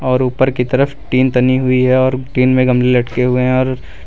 और ऊपर की तरफ टीन तनी हुई है और टीन में गमले लटके हुए है और--